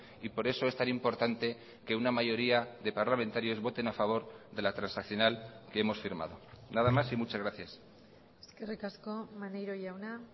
y por eso es tan importante que una mayoría de parlamentarios voten a favor de la transaccional que hemos firmado nada más y muchas gracias eskerrik asko maneiro jauna